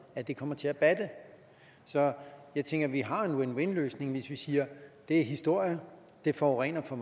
at det kommer til at batte så jeg tænker at vi har en win win løsning hvis vi siger det er historie det forurener for